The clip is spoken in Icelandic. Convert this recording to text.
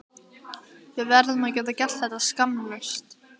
Við verðum að geta gert þetta skammlaust.